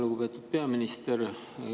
Lugupeetud peaminister!